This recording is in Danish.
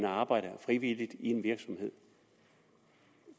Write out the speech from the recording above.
arbejde i en virksomhed